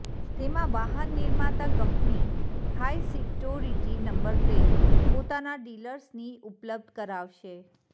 તેમાં વાહન નિર્માતા company high security number plate પોતાના ડિલર્સની ઉપલબ્ધ કરાવશે